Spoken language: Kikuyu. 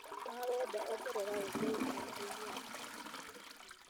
ma wenda ongerera ũndũ ũyũ karenda-inĩ yakwa